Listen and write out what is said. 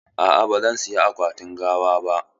A'a, ba zan saya akwatin gawa ba.